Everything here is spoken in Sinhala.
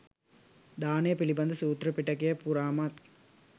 දානය පිළිබඳ සූත්‍ර පිටකය පුරාමත්